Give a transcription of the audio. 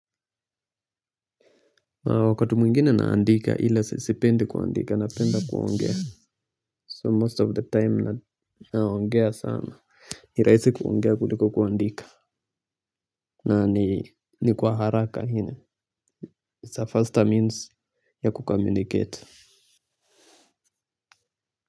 Wakati mwingine naandika ila sipendi kuandika napenda kuongea. 'So most of the time' naongea sana. Ni rahisi kuongea kuliko kuandika. Na ni kwa haraka. 'It's a faster means ya kukomunicate'.